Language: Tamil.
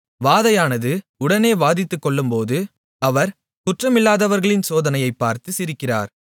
வாதையானது உடனே வாதித்துக் கொல்லும்போது அவர் குற்றமில்லாதவர்களின் சோதனையைப் பார்த்து சிரிக்கிறார்